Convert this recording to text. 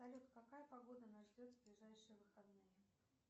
салют какая погода нас ждет в ближайшие выходные